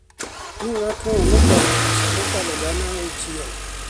ni ng’atno nokwanyo pesa mokalo gana auchiel